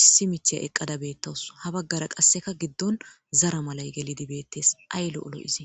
Issi miththiya eqada betawuss ha qase gidon zara malay gelid beetes ay lo'o lo'ize